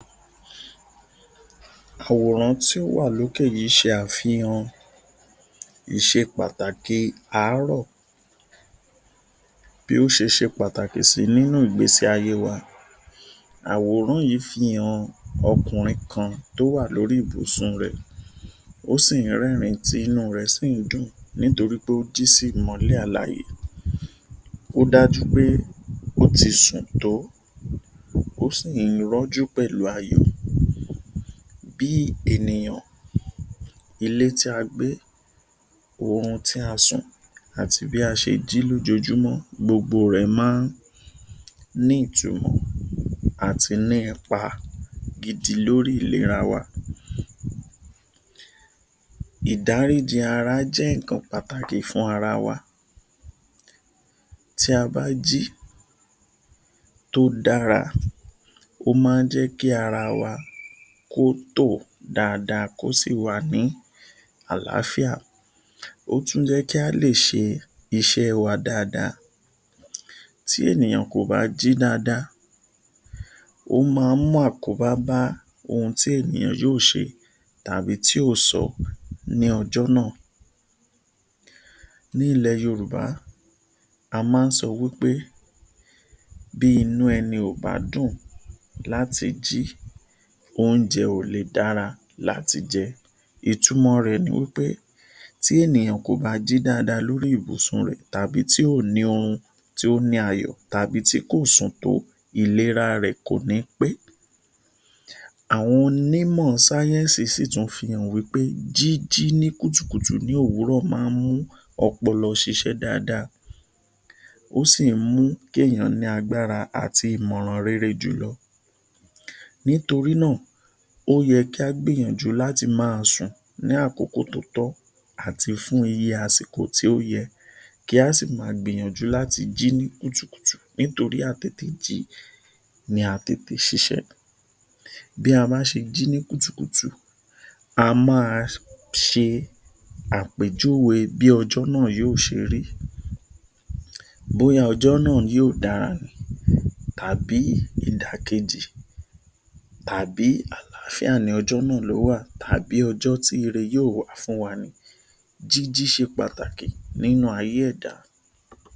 Àwòrán tí ó wà lókè yìí ṣe àfihàn ìṣe pàtàkì àárọ̀ bí ó ṣe ṣé pàtàkì sí nínú ìgbésí ayé wa. Àwòrán yìí fi hàn ọkùnrin kan tí ó wà lórí ibùsùn rẹ̀, ó sì rẹ́rìn tí inú rẹ̀ sí dùn nítorí pé ó jí sí ìmọ́lẹ̀ alàyè. Ó dájú pé ó ti sùn tó, ó sì rọ́jú pẹ̀lú ayọ̀. Bí ènìyàn, ilé tí a gbé, oorun tí a sùn àti bí a ṣe jí lójoojúmọ́ gbogbo rẹ̀ máa ní ìtumọ̀ àti ní ipa gidi lórí ìlera wa. Ìdáríjí ara jẹ́ nǹkan pàtàkì fún ara wa. Tí a bá jí tó dára, ó máa jẹ́ kí ara wa kó tò dáadáa kó sí wà ní àlàáfíà. Ó tún jẹ́ kí a lè ṣe iṣẹ́ wá dáadáa. Tí ènìyàn kò bá jí dáadáa, ó máa mú àkóbá bá ohun tí ènìyàn yóò ṣe tàbí tí yóò sọ lọ́jọ́ náà. Ní ilẹ̀ Yorùbá, a máa ń sọ wí pé ‘Bí inú ẹni ò bá dùn láti jí, oúnjẹ ò lè dára láti jẹ’. Ìtumọ̀ rẹ̀ ni pé tí ènìyàn kò bá jí dáadáa lórí ibùsùn rẹ̀ tàbí tí kò ní oorun tó ní ayọ̀ tàbí tí kò sùn tó, ìlera rẹ̀ kò ní pé. Àwọn onímò sáyẹ́ǹsì sí tún fi hàn pé jíjí ní kùtùkùtù ní òwúrọ̀ máa mú ọpọlọ ṣiṣẹ́ dáadáa, ó sì mú kí èèyàn ní agbára àti ìmọ̀ràn rere jùlọ. Nítorí náà, ó yẹ kí a gbìyànjú láti máa sùn ní àkókò tó tọ́ àti fún iye àsìkò tí ó yẹ. Kí a sì máa gbìyànjú láti máa jí ní kùtùkùtù nítorí a tètè jí ní a tètè ṣiṣẹ́. Bí a bá ṣe jí ní kùtùkùtù a máa ṣe àpèjúwe bí ọjọ́ náà yóò ṣe rí. Bóyá ọjọ́ náà yóò dára tàbí ìdàkejì tàbí àlàáfíà ní ọjọ́ náà ló wà tàbí ọjọ́ tí irẹ yóò wà fún wa. Jíjí ṣe pàtàkì nínú ayé ẹ̀dá.